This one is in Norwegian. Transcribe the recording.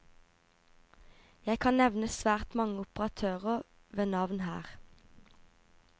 Jeg kan nevne svært mange operatører ved navn her.